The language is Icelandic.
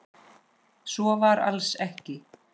Svo var alls ekki.